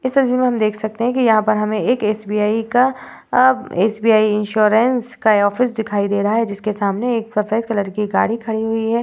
इस तस्वीर मे हम देख सकते है की यहाँ पर हमें एक एस.बी.आई का अ एस.बी.आई इंश्योरन्स का ऑफिस दिखाई दे रहा है जिसके सामने एक सफ़ेद कलर की गाड़ी खड़ी हुई है।